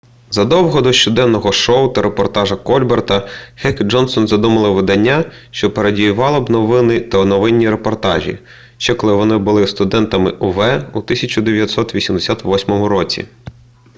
задовго до щоденного шоу та репортажа кольбера хек і джонсон задумали видання що пародіювало б новини і новинні репортажі ще коли вони були студентами ув у 1988 році